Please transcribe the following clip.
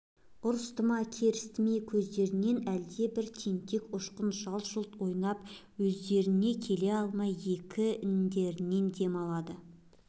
ұрысты ма керісті ме көздерінде әлдебір тентек ұшқын жалт-жұлт ойнап өздеріне келе алмай екі иіндерінен дем алады